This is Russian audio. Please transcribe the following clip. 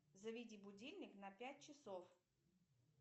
заведи будильник на пять часов